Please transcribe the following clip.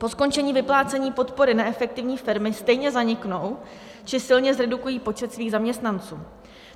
Po skončení vyplácení podpory neefektivní firmy stejně zaniknou či silně zredukují počet svých zaměstnanců.